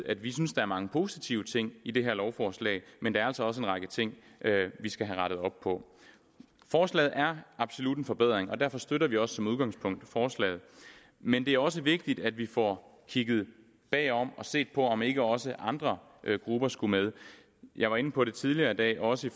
at vi synes der er mange positive ting i det her lovforslag men der er altså også en række ting vi skal have rettet op på forslaget er absolut en forbedring og derfor støtter vi også som udgangspunkt forslaget men det er også vigtigt at vi får kigget bagom og får set på om ikke også andre grupper skulle med jeg var inde på det tidligere i dag også